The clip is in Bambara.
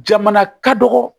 Jamana ka dɔgɔ